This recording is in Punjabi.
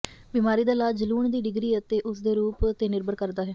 ਬਿਮਾਰੀ ਦਾ ਇਲਾਜ ਜਲੂਣ ਦੀ ਡਿਗਰੀ ਅਤੇ ਉਸਦੇ ਰੂਪ ਤੇ ਨਿਰਭਰ ਕਰਦਾ ਹੈ